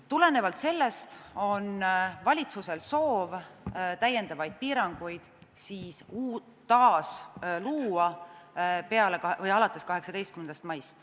Tulenevalt sellest on valitsusel soov täiendavaid piiranguid taas luua alates 18. maist.